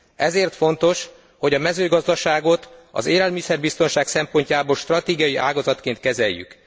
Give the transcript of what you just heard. Ezért fontos, hogy a mezőgazdaságot az élelmiszerbiztonság szempontjából stratégiai ágazatként kezeljük.